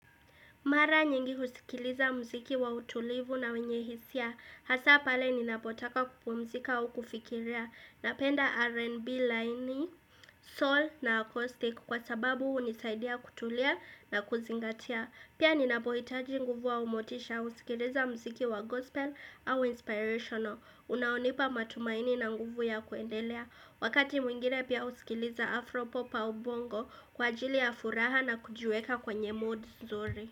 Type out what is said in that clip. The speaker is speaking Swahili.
Mara nyingi husikiliza muziki wa utulivu na wenye hisia. Hasa pale ninapotaka kupumzika au kufikiria Napenda R&B laini soul na acoustic kwa sababu hunisaidia kutulia na kuzingatia. Pia ninapohitaji nguvu au motisha husikiliza muziki wa gospel au inspirational unaonipa matumaini na nguvu ya kuendelea. Wakati mwingine pia usikiliza afropop au bongo Kwa ajili ya furaha na kujiweka kwenye moods nzuri.